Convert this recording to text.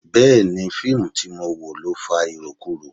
Bẹẹni, fíìmù tí mo wò ló fa irokuro.